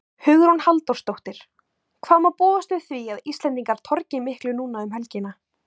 Hugrún Halldórsdóttir: Hvað má búast við því að Íslendingar torgi miklu núna um helgina?